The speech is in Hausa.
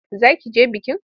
Za ki je bikin?